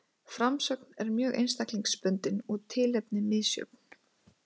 Framsögn er mjög einstaklingsbundin og tilefni misjöfn.